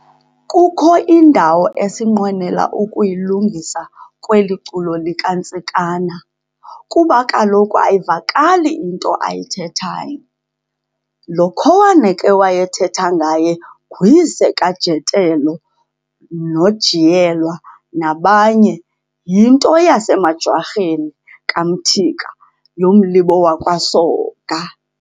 Kukho indawo esinqwenela ukuyilungisa kweli culo likaNtsikana, kuba kaloku ayivakali into eyithethayo. Lo khowana ke wayethetha ngaye nguyise kaJotello noJiyelwa nabanye, yinto yasemaJwarheni, kaMthika, yomlibo wakwaSoga.